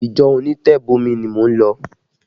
Ìjọ onitebomi ni mò ń lọ